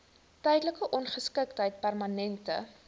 tydelike ongeskiktheid permanente